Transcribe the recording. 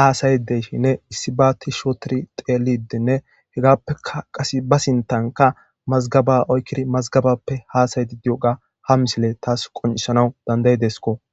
haasayide de7ishininne issibaa tishshi ooththiri xeellidi denne hegaappekka qassi ba sinththankka mazggabaa oykkidi mazggabaappe haasayiidde diyoogaa hamisile thas qonccissanawu dandda7i desikoo.